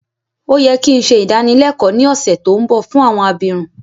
Ó yẹ ki n se ìdánilẹ́kọ ni ọ̀ṣẹ̀ to nbọ fún àwọn abirun